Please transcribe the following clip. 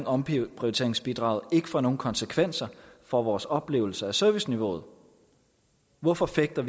omprioriteringsbidraget ikke får nogen konsekvenser for vores oplevelse af serviceniveauet hvorfor fægter